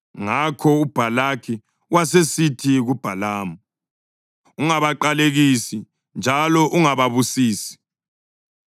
Ngakho uBhalaki wasesithi kuBhalamu, “Ungabaqalekisi, njalo ungababusisi!”